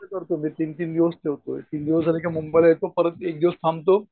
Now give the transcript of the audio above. काय करतो मी तीन तीन दिवस फिरतो तीन दिवस झाले कि मुंबई ला येतो. परत एक दिवस थांबतो